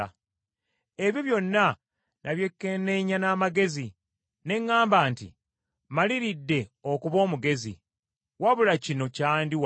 Ebyo byonna nabyekenneenya n’amagezi ne ŋŋamba nti, “Mmaliridde okuba omugezi,” wabula kino kyandi wala.